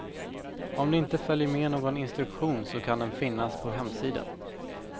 Om det inte följer med någon instruktion så kan den finnas på hemsidan.